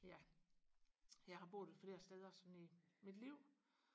ja jeg har boet flere steder sådan i mit liv